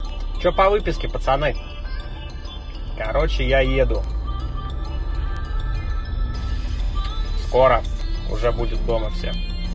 что по выписке пацаны короче я еду скоро уже будут дома все